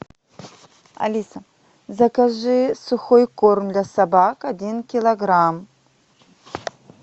алиса закажи сухой корм для собак один килограмм